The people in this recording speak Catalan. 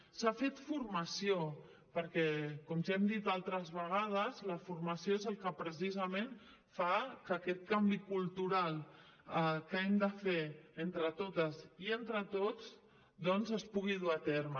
s’ha fet formació perquè com ja hem dit altres vegades la formació és el que precisament fa que aquest canvi cultural que hem de fer entre totes i entre tots doncs es pugui dur a terme